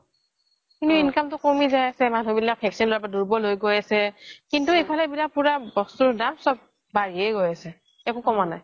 কিন্তু income তো কমি যাই আছে মানুহ বিলাক দুৰ্বল হয় গৈ আছে কিন্তু এইফলে পুৰা বস্তুৰ দাম বাঢ়িয়ে গৈ আছে একো কমা নাই